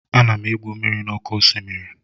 Ana m egwu mmiri n'oké osimiri